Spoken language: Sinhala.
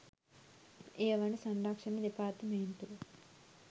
එය වන සංරක්ෂණ දෙපාර්තමේන්තුව